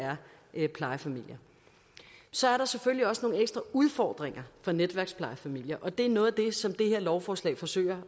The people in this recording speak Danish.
er plejefamilier så er der selvfølgelig også nogle ekstra udfordringer for netværksplejefamilier og det er noget af det som det her lovforslag forsøger